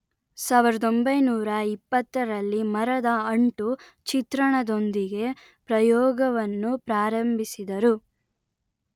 ಸಾವಿರದ ಒಂಬೈನೂರಾ ಇಪ್ಪತ್ತರಲ್ಲಿ ಮರದ ಅಂಟು ಚಿತ್ರಣದೊಂದಿಗೆ ಪ್ರಯೋಗವನ್ನು ಪ್ರಾರಂಭಿಸಿದರು